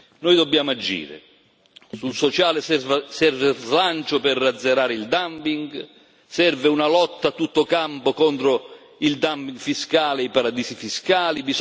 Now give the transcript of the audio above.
Noi dobbiamo agire sul sociale serve slancio per azzerare il dumping serve una lotta a tutto campo contro il dumping fiscale, i paradisi fiscali